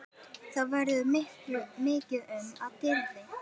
Þá verður mikið um dýrðir